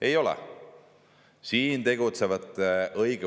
Ei ole!